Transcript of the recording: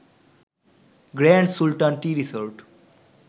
grand Sultan tea resort